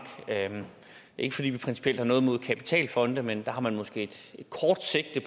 ikke fordi vi principielt har noget imod kapitalfonde men der har man måske et kort sigte